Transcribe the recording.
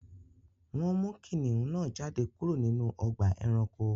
Wọn mú kìnnìún náà jádẹ̀ kúrò nínú ọ̀gbà ẹ̀ránkò